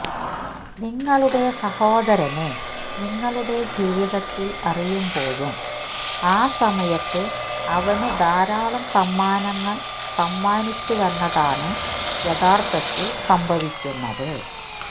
നിങ്ങളുടെ സഹോദരനെ നിങ്ങളുടെ ജീവിതത്തിൽ അറിയുമ്പോഴും ആ സമയത്ത് അവനു ധാരാളം സമ്മാനങ്ങൾ സമ്മാനിച്ചുവെന്നതാണ് യഥാർത്ഥത്തിൽ സംഭവിക്കുന്നത്